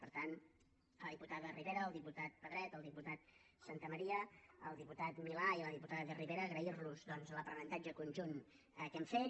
per tant a la diputada ribera al diputat pedret al diputat santamaría al diputat milà i a la diputada de rivera agrair los doncs l’aprenentatge conjunt que hem fet